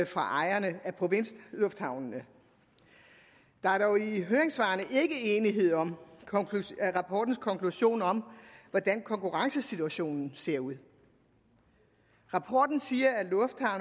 fra ejerne af provinslufthavne der er dog i høringssvarene ikke enighed om rapportens konklusion om hvordan konkurrencesituationen ser ud rapporten siger